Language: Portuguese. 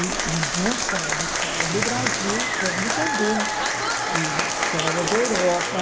E não só em história do Brasil, como também em história da Europa.